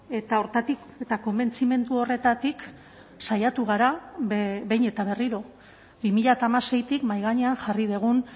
eta horretatik eta konbentzimendu horretatik saiatu gara behin eta berriro bi mila hamaseitik mahai gainean jarri dugun